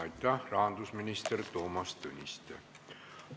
Aitäh, rahandusminister Toomas Tõniste!